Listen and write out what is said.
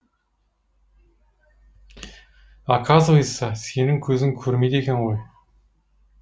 оказывается сенің көзің көрмейді екен ғой